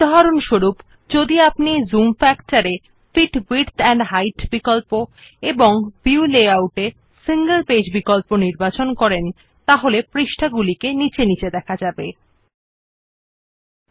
four example if we select the fit width and height option under zoom factor then click on the single page option under the view layout option and finally click on the okay button we see that the pages are displayed one below the other